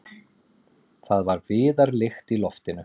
Það var viðarlykt í loftinu.